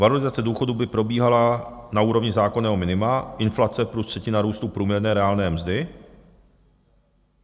Valorizace důchodů by probíhala na úrovni zákonného minima, inflace plus třetina růstu průměrné reálné mzdy.